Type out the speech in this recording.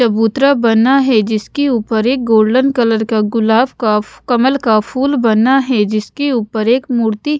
चबूतरा बना है जिसके ऊपर एक गोल्डन कलर का गुलाब का कमल का फुल बना है जिसके ऊपर एक मूर्ति --